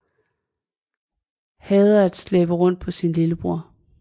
Hader at slæbe rundt på sin lillebror